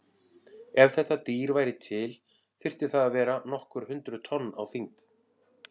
Ef þetta dýr væri til þyrfti það að vera nokkur hundruð tonn á þyngd.